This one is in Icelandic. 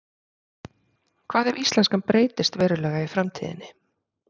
Hvað ef íslenskan breytist verulega í framtíðinni?